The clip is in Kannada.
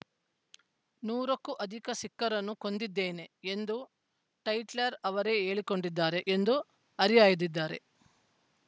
ನೂರಕ್ಕೂ ಅಧಿಕ ಸಿಖ್ಖರನ್ನು ಕೊಂದಿದ್ದೇನೆ ಎಂದು ಟೈಟ್ಲರ್‌ ಅವರೇ ಹೇಳಿಕೊಂಡಿದ್ದಾರೆ ಎಂದು ಹರಿಹಾಯ್ದಿದ್ಧಾರೆ